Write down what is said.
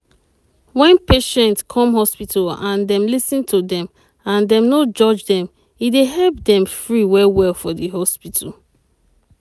wen patient come hospital and dem lis ten to dem and dem no judge dem e dey help dem free well well for di hospital.